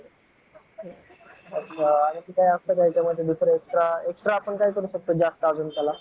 अजून काही असतं का extra extra काय करू शकतो आपण जास्त त्याला?